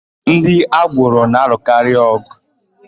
Ndị agboro na-alụkarị ọ̀gụ̀.